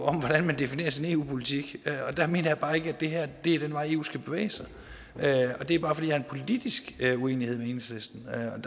om hvordan man definerer sin eu politik og der mener jeg bare ikke at det her er den vej eu skal bevæge sig hen ad det er bare fordi jeg har en politisk uenighed med enhedslisten